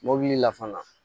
Mɔbili la fana